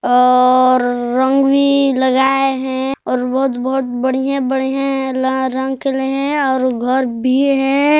और अ-अ-अ रंग भी लगाए है और बहुत-बहुत बढ़िया-बढ़िया ल रंग खिले है और घर भी है।